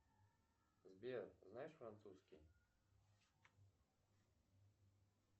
сбер знаешь французский